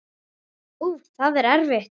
Úff, það er erfitt.